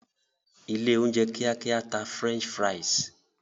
ilé oúnjẹ kíákíá tà french fries.